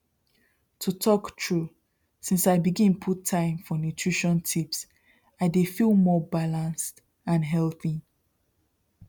to talk true since i begin put time for nutrition tips i dey feel more balanced and healthy